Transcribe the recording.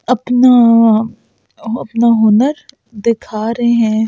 अपना अपना हुनर दिखा रहे हैं।